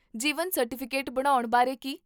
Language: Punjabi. ਜੀਵਨ ਸਰਟੀਫਿਕੇਟ ਬਣਾਉਣ ਬਾਰੇ ਕੀ?